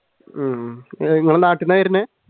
ഉം നിങ്ങളുടെ നാട്ടിൽ നിന്നാണ് വരുന്നത്?